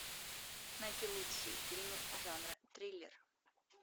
найти лучшие фильмы жанра триллер